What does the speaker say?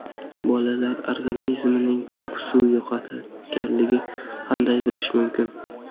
Bolalar organizmining ko‘p suv yo‘qotganligini qanday bilish mumkin?